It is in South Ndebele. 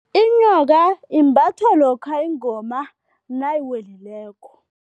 Inyoka imbathwa lokha ingoma nayiwelileko.